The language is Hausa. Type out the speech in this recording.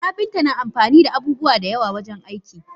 Kapinta na amfanida abubuwa dayawa wajen aiki.